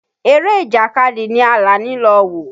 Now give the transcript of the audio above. Eré Ìjàkadì ni Àlàní lọ wò.